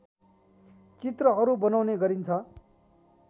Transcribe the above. चित्रहरू बनाउने गरिन्छ